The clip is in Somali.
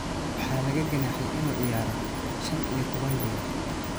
Waxaa laga ganaaxay inuu ciyaaro shaan iyo tobaan bilood.